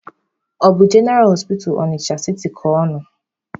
Ọ bụ jeneraa hospital Ọnịcha siti ka ọ nọ.